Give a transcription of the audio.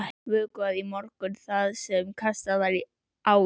Vökvað í morgun það sem kastað var á í gær.